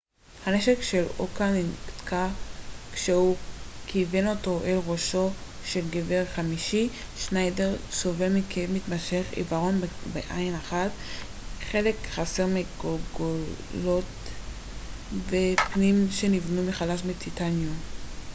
הנשק של אוקה נתקע כשהוא כיוון אותו אל ראשו של גבר חמישי שניידר סובל מכאב מתמשך עיוורון בעין אחת חלק חסר מהגולגולת ופנים שנבנו מחדש מטיטניום